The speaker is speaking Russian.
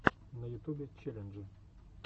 на ютубе челленджи